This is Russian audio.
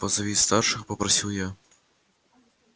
позови старших попросил я